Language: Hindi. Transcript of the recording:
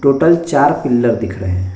टोटल चार पिल्लर दिख रहे है।